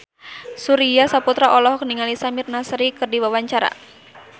Surya Saputra olohok ningali Samir Nasri keur diwawancara